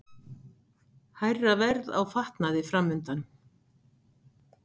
Hærra verð á fatnaði framundan